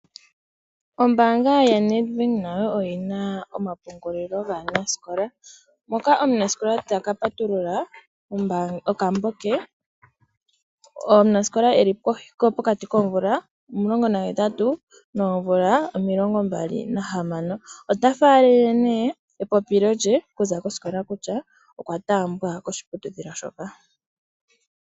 Ombanga yaNEDBANK oyina omapungulilo gaanasikola moka omunasikola taka patulula okambo ke. Omunasikola ngoka eli pokati koomvula omulongo nahetatu noomvula omilongo mbali nahamano otafalele epopilo lye okuza kosikola kutya okwataambwa koshiputudhilo shoka.